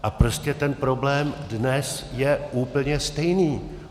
A prostě ten problém dnes je úplně stejný.